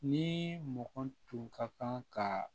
Ni mɔgɔ tun ka kan ka